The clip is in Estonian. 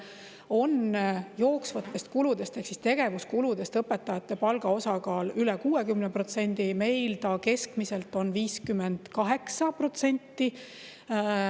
Seal on jooksvates kuludes ehk tegevuskuludes õpetajate palga osakaal üle 60%, meil on see keskmiselt 58%.